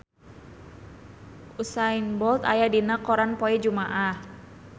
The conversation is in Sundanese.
Usain Bolt aya dina koran poe Jumaah